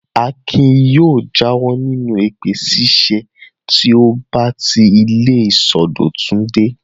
Akin yóò jáwọ́ nínú èpè ṣíṣẹ́ tí ó bá ti ilé ìsọdọ̀tun dé.